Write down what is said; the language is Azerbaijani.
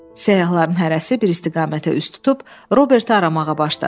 Səyyahların hərəsi bir istiqamətə üz tutub Roberti aramağa başladı.